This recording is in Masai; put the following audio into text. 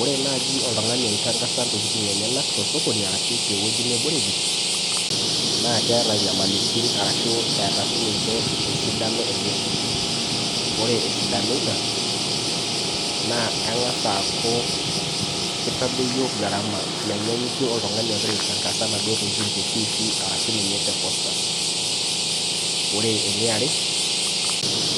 Ore naaji oltung'ani oitangasa intokiting enyenak tosokoni arashu tewueji neboreki naa keeta inyamalitin ashu eeta sininche esidano enye ore esidano ina naa eng'as aaku kitadoyio gharama menyanyikie oltung'ani ogira aitangasa inaduo tokitin te tifii arashu ninye te posters ore eniare